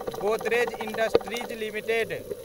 Godrej industries limited